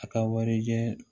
A ka warijɛ